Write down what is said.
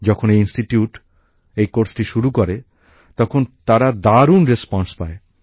যখন এই প্রতিষ্ঠান এই পাঠক্রমটি শুরু করে তখন তারা দারুণ সাড়া পায়